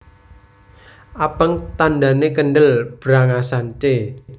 Abang tandhane kendel brangasan c